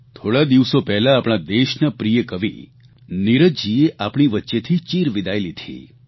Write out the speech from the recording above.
થોડા દિવસો પહેલાં આપણા દેશના પ્રિય કવિ નીરજજીએ આપણી વચ્ચેથી ચીરવિદાય લીધી